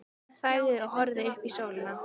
Hún þagnaði og horfði upp í sólina.